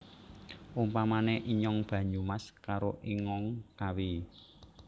Umpamane inyong Banyumas karo ingong Kawi